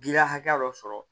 Giriya hakɛ dɔ sɔrɔ